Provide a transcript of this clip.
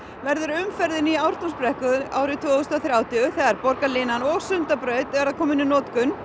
verður umferðin í Ártúnsbrekku árið tvö þúsund og þrjátíu þegar borgarlínan og Sundabraut verða komin í notkun